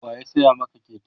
waya saya Maka Keke?